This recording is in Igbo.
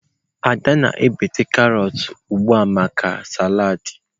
Ada na-egbutu carrots ugbu a maka salad.